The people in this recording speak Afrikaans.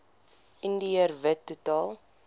indiër wit totaal